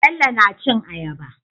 Bello na cin ayaba